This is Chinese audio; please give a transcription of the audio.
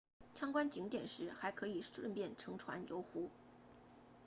参观景点时还可以顺便乘船游湖